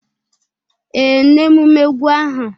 Ee, n'emume egwu ahụ.